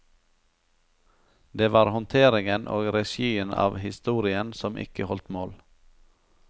Det var håndteringen og regien av historien som ikke holdt mål.